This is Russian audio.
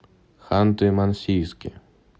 ханты мансийске